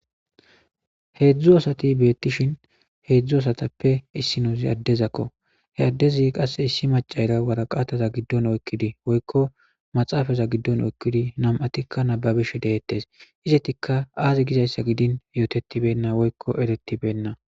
Hedzu asati betishn hedzu asatape issozi adezako he adezi aase issi macara waraazta gidon oykidi woyko maxafa gidon oykidi nam'atika nababishe detes izetika azi gizaysa gin yotetibeyn woyko ertbeyn